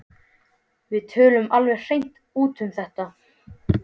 Við töluðum alveg hreint út um þetta.